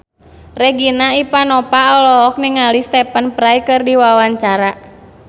Regina Ivanova olohok ningali Stephen Fry keur diwawancara